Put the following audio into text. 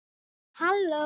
En halló.